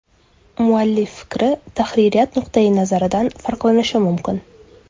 Muallif fikri tahririyat nuqtai nazaridan farqlanishi mumkin.